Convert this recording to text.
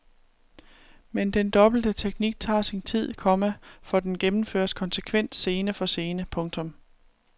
Men den dobbelte teknik tager sin tid, komma for den gennemføres konsekvent scene for scene. punktum